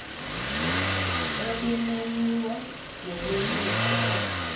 ebimenyiwe yeyeliso lo